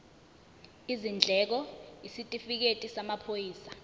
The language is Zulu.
izindleko isitifikedi samaphoyisa